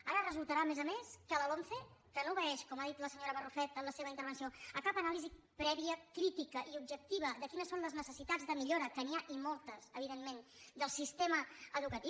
ara resultarà a més a més que la lomce que no obeeix com ha dit la senyora barrufet en la seva intervenció a cap anàlisi prèvia crítica ni objectiva de quines són les necessitats de millora que n’hi ha i moltes evidentment del sistema educatiu